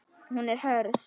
Hún er hörð.